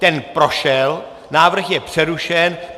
Ten prošel, bod je přerušen.